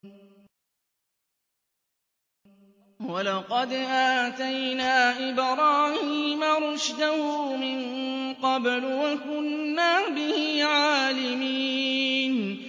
۞ وَلَقَدْ آتَيْنَا إِبْرَاهِيمَ رُشْدَهُ مِن قَبْلُ وَكُنَّا بِهِ عَالِمِينَ